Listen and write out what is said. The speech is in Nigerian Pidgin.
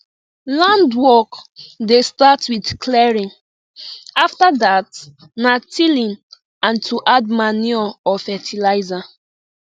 land work dey start with clearing after that na tilling and to add manure or fertilizer